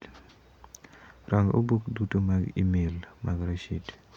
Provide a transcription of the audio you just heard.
Rang' obok duto mag imel mag Rashid.